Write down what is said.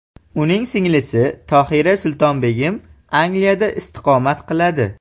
Uning singlisi Tohira Sultonbegim Angliyada istiqomat qiladi.